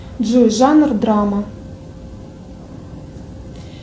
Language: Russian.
джой жанр драма